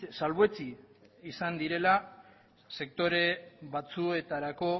salbuetsi izan direla sektore batzuetarako